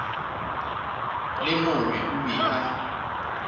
le mongwe o be a